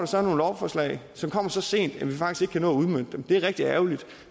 så nogle lovforslag som kommer så sent at vi faktisk ikke kan nå at udmønte dem det er rigtig ærgerligt